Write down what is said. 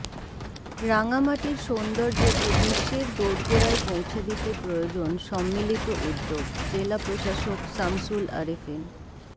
রাঙামাটির সৌন্দর্য্যকে বিশ্বের দৌড়গোড়ায় পৌঁছে দিতে প্রয়োজন সম্মিলিত উদ্যোগঃ জেলা প্রশাসক সামশুল আরেফিন